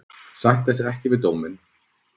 Sætta sig ekki við dóminn